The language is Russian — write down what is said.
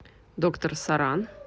доктор соран